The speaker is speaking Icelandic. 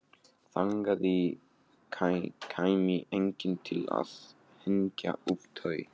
Þangað kæmi enginn til að hengja upp tau.